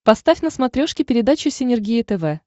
поставь на смотрешке передачу синергия тв